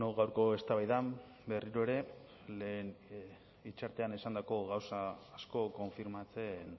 gaurko eztabaidan berriro ere lehen hitzartean esandako gauza asko konfirmatzen